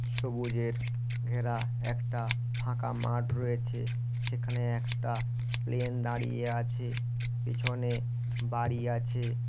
সবুজের ঘেরা একটা ফাঁকা মাঠ রয়েছে সেখানে একটা প্লেন দাঁড়িয়ে আছে পিছনে বাড়ি আছে।